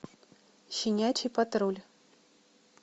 щенячий патруль